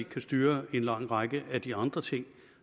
kan styre en lang række af de andre ting